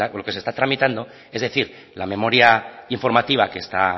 lo que se está tramitando es decir la memoria informativa que está